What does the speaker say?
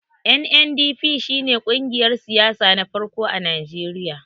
NNDP shi ne kungiyar siyasa na farko a Najeriya.